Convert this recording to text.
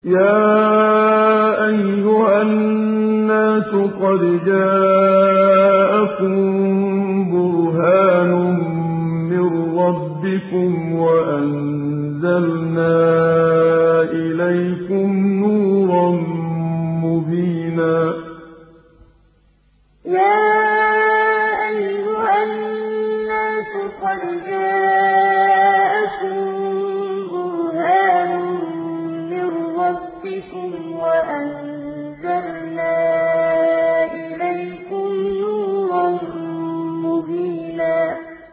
يَا أَيُّهَا النَّاسُ قَدْ جَاءَكُم بُرْهَانٌ مِّن رَّبِّكُمْ وَأَنزَلْنَا إِلَيْكُمْ نُورًا مُّبِينًا يَا أَيُّهَا النَّاسُ قَدْ جَاءَكُم بُرْهَانٌ مِّن رَّبِّكُمْ وَأَنزَلْنَا إِلَيْكُمْ نُورًا مُّبِينًا